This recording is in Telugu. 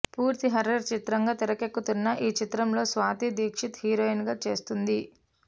పూర్తి హర్రర్ చిత్రంగా తెరకెక్కుతున్న ఈ చిత్రంలో స్వాతి దీక్షిత్ హీరోయిన్ గా చేస్తోంది